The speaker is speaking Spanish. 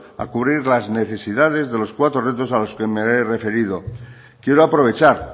a cubrir las necesidades de los cuatro retos a los que me he referido quiero aprovechar